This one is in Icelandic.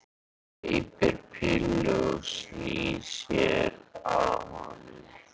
Gleypir pillu og snýr sér að honum.